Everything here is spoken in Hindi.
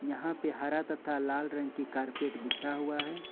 यहां पर हरा तथा लाल रंग की कारपेट बढ़ा हुआ है।